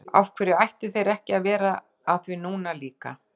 Af hverju ættu þeir ekki að vera að því núna líka?